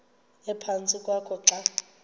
ephantsi kwakho xa